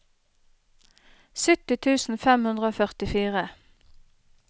sytti tusen fem hundre og førtifire